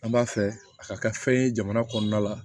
An b'a fɛ a ka kɛ fɛn ye jamana kɔnɔna la